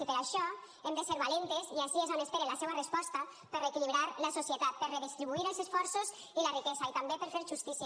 i per això hem de ser valentes i ací és on espere la seua resposta per reequilibrar la societat per redistribuir els esforços i la riquesa i també per fer justícia